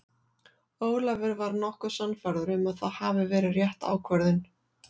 Ólafur var nokkuð sannfærður að það hafi verið rétt ákvörðun.